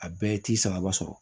A bɛɛ ye t'i sagaba sɔrɔ